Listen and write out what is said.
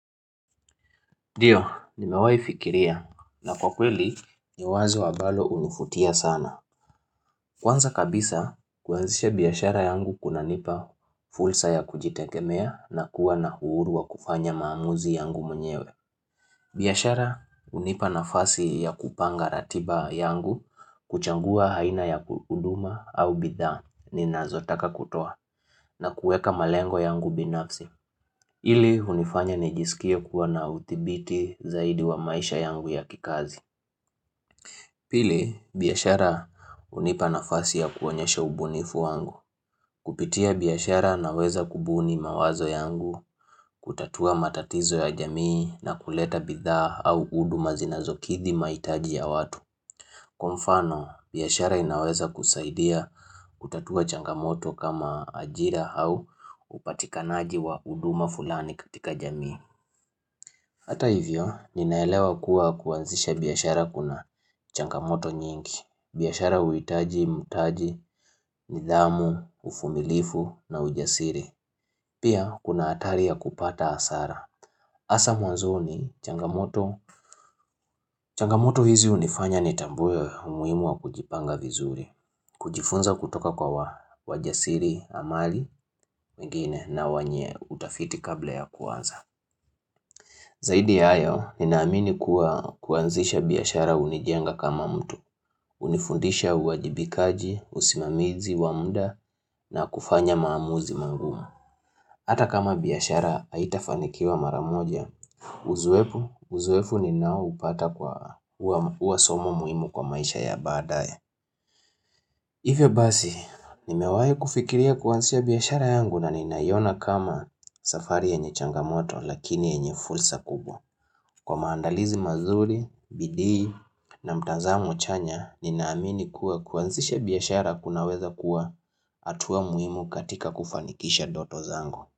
Ndio, nimewai fikiria na kwa kweli, ni wazo ambalo hunivutia sana. Kwanza kabisa, kuanzisha biashara yangu kuna nipa fursa ya kujitegemea na kuwa na uhuru wa kufanya maamuzi yangu mwenyewe. Biashara hunipa nafasi ya kupanga ratiba yangu, kuchagua haina ya huduma au bidhaa, ninazotaka kutoa, na kueka malengo yangu binafsi. Ili hunifanya ni jisikia kuwa na udhibiti zaidi wa maisha yangu ya kikazi Pili biashara hunipa nafasi ya kuonyesha ubunifu wangu Kupitia biashara naweza kubuni mawazo yangu kutatua matatizo ya jamii na kuleta bidhaa au huduma zinazokidhi maitaji ya watu Kwa mfano biashara inaweza kusaidia kutatua changamoto kama ajira au upatikanaji wa huduma fulani katika jamii Hata hivyo, ninaelewa kuwa kuanzisha biashara kuna changamoto nyingi, biashara huhitaji, nidhamu, uvumilifu na ujasiri. Pia, kuna hatari ya kupata hasara. Hasa mwanzoni changamoto. Changamoto hizi hunifanya ni tambue umuhimu wa kujipanga vizuri, kujifunza kutoka kwa wajasiri amali wengine na wenye utafiti kabla ya kuanza. Zaidi ya hayo, ninaamini kuwa kuanzisha biashara hunijenga kama mtu, hunifundisha uwajibikaji, usimamizi, wa muda na kufanya maamuzi magumu. Hata kama biashara haitafanikiwa maramoja, uzoefu ni nao upata kwa huwasomo muhimu kwa maisha ya badaye. Hivyo basi, nimewahi kufikiria kuanzisha biashara yangu na ninaiona kama safari yenye changamoto lakini yenye fursa kubwa. Kwa maandalizi mazuri, bidii na mtazamo chanya, ninaamini kuwa kuanzisha biashara kunaweza kuwa hatua muhimu katika kufanikisha ndoto zangu.